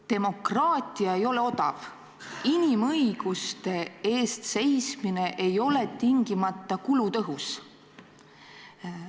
Demokraatia ei ole odav, inimõiguste eest seismine ei ole tingimata kulutõhus.